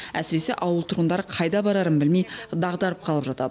әсіресе ауыл тұрғындары қайда барарын білмей дағдарып қалып жатады